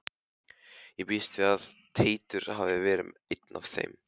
Ég býst við að Teitur hafi verið einn af þeim.